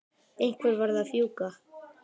Einhver varð að fjúka.